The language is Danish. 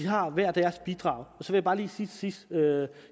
har hver deres bidrag så vil jeg bare lige sige til sidst at